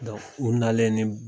u nalen ye ne